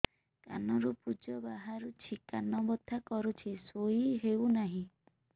କାନ ରୁ ପୂଜ ବାହାରୁଛି କାନ ବଥା କରୁଛି ଶୋଇ ହେଉନାହିଁ